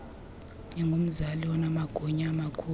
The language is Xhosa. ingumzali onamagunya amakhulu